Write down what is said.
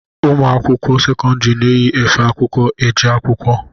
Ụmụ akwụkwọ sekọndiri na-eyi efe akwụkwọ eje akwụkwọ.